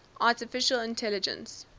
artificial intelligence